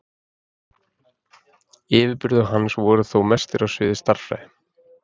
Yfirburðir hans voru þó mestir á sviði stærðfræði.